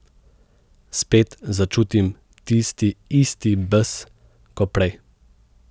Spet začutim tisti isti bes ko prej.